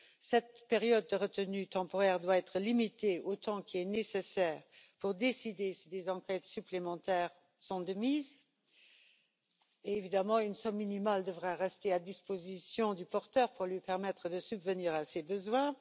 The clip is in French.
Cette période de retenue temporaire doit être limitée au temps nécessaire pour décider si des enquêtes supplémentaires sont de mise, et évidemment une somme minimale devrait rester à disposition du porteur pour lui permettre de subvenir à ses besoins.